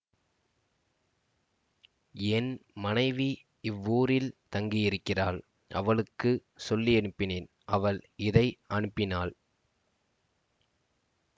என் மனைவி இவ்வூரில் தங்கியிருக்கிறாள் அவளுக்கு சொல்லியனுப்பினேன் அவள் இதை அனுப்பினாள்